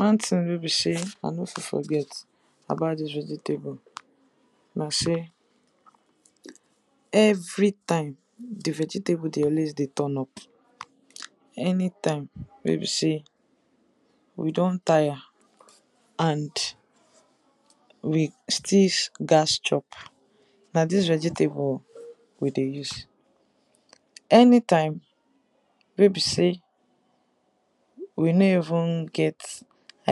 One thing wey be sey I nor fit forget about dis vegetable na sey, every time di vegetable dey always dey turn up, anytime wey be sey we don tire, and we still gats chop na dis vegetable we dey use, anytime wey be sey, we no even get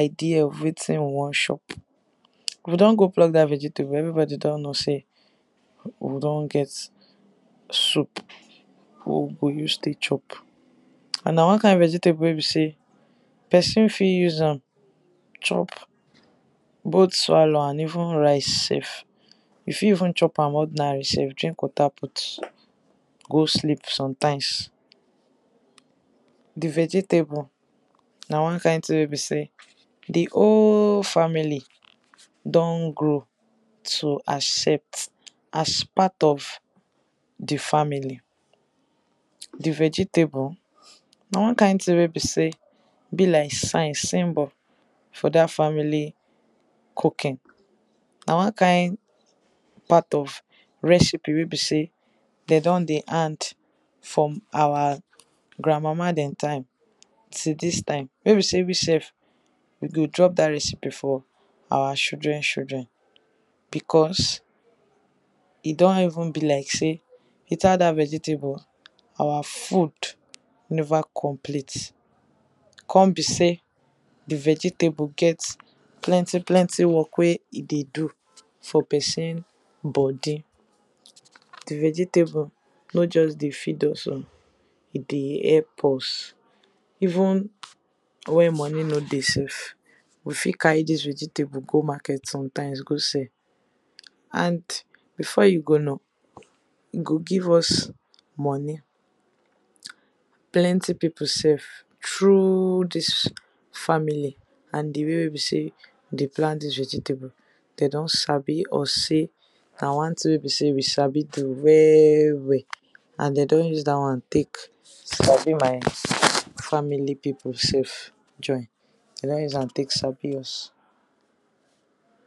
idea of wetin we wan chop. We don go pluck dat vegetable everybody don know sey we don get soup wey we goo use take chop, and na one kind vegetable wey be sey person fit even use chop both swallow and even rice sef, you fit even chop am ordinary sef drink water put go sleep. Di vegetable na one kind thing wey be sey di whole family don grow to accept as part of di family. Di vegetable na one kind thing wey be sey be like sign, symbol for dat family cooking. Na one kind recipe wey be sey dem don dey hand from our grand mama dem time till dis time wey be sey we sef, we go drop dat recipe for our children children because e don even be like sey, without dat vegetable our food never even complete come be sey di vegetable get plenty plenty work, wey e dey do for person body. Di vegetable no just dey feed us oh, e dey help us even wen money no dey sef, we fit carry dis vegetable go market sometimes go sell, and before you go know e go give us money, plenty people sef through dis family and di way wey e sey we dey plant dis vegetable dem don sabi us sey, na one thing wey be sey we sabi do well well, and dem don use dat one take sabi my family people sef join. Dem don use am take sabi us.